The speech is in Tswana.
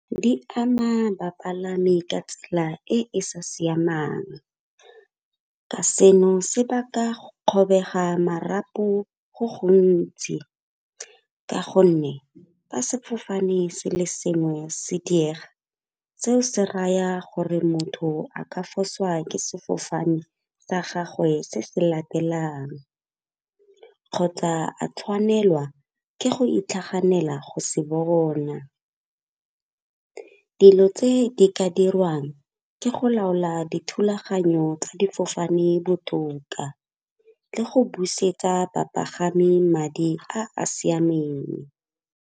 Di ama bapalami ka tsela e e sa siamang ka seno se ba ka kgobega marapo go gontsi. Ka gonne fa sefofane se le sengwe se diega, seo se raya gore motho a ka fosiwa ke sefofane sa gagwe se se latelang kgotsa a tshwanelwa ke go itlhaganela go se bona. Dilo tse di ka diriwang ke go laola dithulaganyo tsa difofane botoka le go busetsa bapagami madi a a siameng.